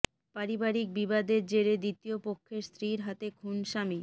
পারিবারিক বিবাদের জেরে দ্বিতীয় পক্ষের স্ত্রীর হাতে খুন স্বামী